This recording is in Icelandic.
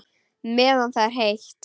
Meðan það er heitt.